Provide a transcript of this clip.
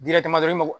dɔrɔn i ma